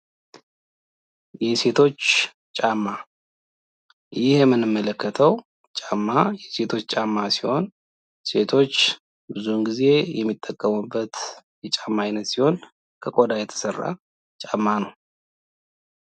የሴቶች ጫማ፦ ይህ የምንመለከተው ጫማ የሴቶች ጫማ ሲሆን ፤ ሴቶች ብዙዉን ጊዜ የሚጠቀሙበት ጫማ ሲሆን ፤ ከቆዳ የተሰራ ጫማ ነው።